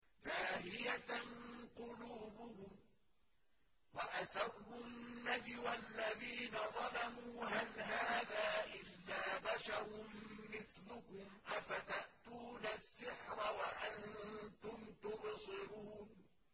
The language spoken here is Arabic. لَاهِيَةً قُلُوبُهُمْ ۗ وَأَسَرُّوا النَّجْوَى الَّذِينَ ظَلَمُوا هَلْ هَٰذَا إِلَّا بَشَرٌ مِّثْلُكُمْ ۖ أَفَتَأْتُونَ السِّحْرَ وَأَنتُمْ تُبْصِرُونَ